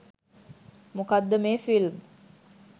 මොකක්ද මේ ෆිල්ම්